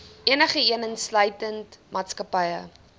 enigeen insluitende maatskappye